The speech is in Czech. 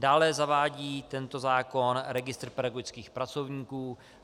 Dále zavádí tento zákon registr pedagogických pracovníků.